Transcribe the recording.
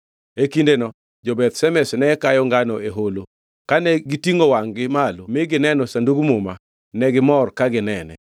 E kindeno jo-Beth Shemesh ne kayo ngano e holo, kane gitingʼo wangʼ-gi malo mi gineno Sandug Muma, negimor ka ginene.